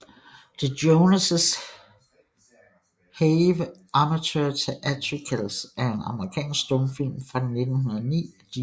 The Joneses Have Amateur Theatricals er en amerikansk stumfilm fra 1909 af D